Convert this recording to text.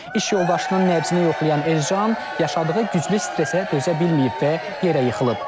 İş yoldaşının nəbzini yoxlayan Ercan yaşadığı güclü stressə dözə bilməyib və yerə yıxılıb.